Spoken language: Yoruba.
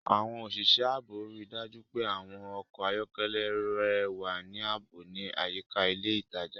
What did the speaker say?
Àwọn òṣìṣẹ́ ààbò rí i dájú pé àwọn ọkọ̀ ayọ́kẹ́lẹ́ rẹ wà ní ààbò ní àyíká ilé ìtajà.